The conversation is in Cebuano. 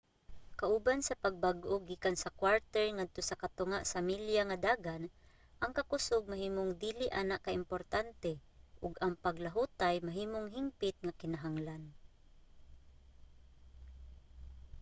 kauban sa pagbag-o gikan sa kwarter ngadto sa katunga sa milya nga dagan ang kakusog mahimong dili ana ka importante ug ang paglahutay mahimong hingpit nga kinahanglan